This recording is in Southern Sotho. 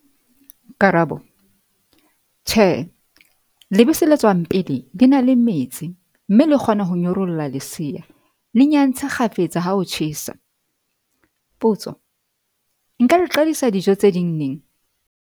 Karabo- Tjhe, lebese le tswang pele, le na le metsi mme le kgona ho nyorolla lesea. Le nyantse kgafetsa ha ho tjhesa. Potso- Nka le qadisa dijo tse ding neng?